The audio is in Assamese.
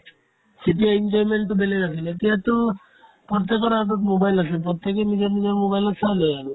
সেইটো entertainment তো বেলেগ আছিলে এতিয়াতো প্ৰত্যেকৰে হাতত mobile আছে প্ৰত্যেকে নিজৰ নিজৰ mobile ত চাই লই আৰু